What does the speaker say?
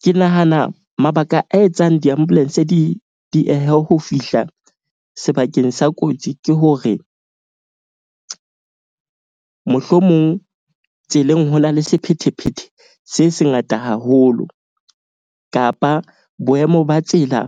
Ke nahana mabaka a etsang di-ambulance di diehe ho fihla sebakeng sa kotsi, ke hore mohlomong tseleng ho na le sephethephethe se sengata haholo. Kapa boemo ba tsela